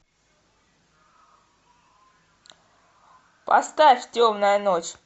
поставь темная ночь